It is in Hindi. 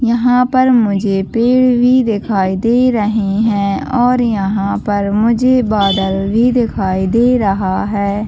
यहाँ पर मुझ पेड़ भी दिखाई दे रहे है और यहाँ पर मुझे बादल भी दिखाई दे रहा है।